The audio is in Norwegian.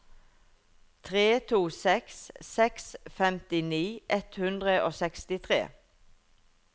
tre to seks seks femtini ett hundre og sekstitre